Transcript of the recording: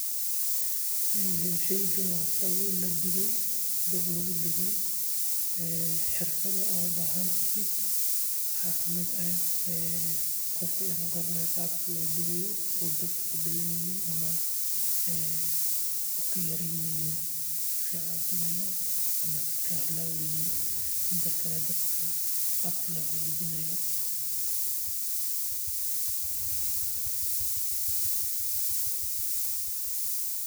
Sheygani waa sabuul ladube oo dab lagu dube waxaad ubahan tahay waa qofka inuu garanaayo qabka loo dubaayo sido kale qaabka loo hagaajinaayo.